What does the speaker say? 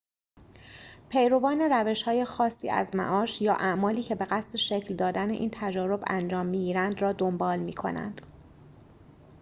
پیروان روش‌های خاصی از معاش یا اعمالی که به قصد شکل دادن این تجارب انجام می‌گیرند را دنبال می‌کنند